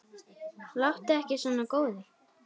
Láttu ekki svona góði.